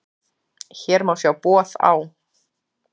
Hér má sjá boð á